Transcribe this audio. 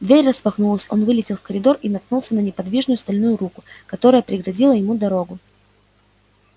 дверь распахнулась он вылетел в коридор и наткнулся на неподвижную стальную руку которая преградила ему дорогу